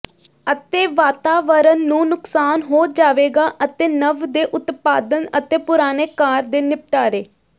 ਅਤੇ ਵਾਤਾਵਰਣ ਨੂੰ ਨੁਕਸਾਨ ਹੋ ਜਾਵੇਗਾ ਅਤੇ ਨਵ ਦੇ ਉਤਪਾਦਨ ਅਤੇ ਪੁਰਾਣੇ ਕਾਰ ਦੇ ਨਿਪਟਾਰੇ